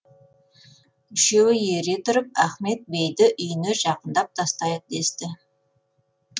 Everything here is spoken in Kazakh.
үшеуі ере тұрып ахмет бейді үйіне жақындап тастайық десті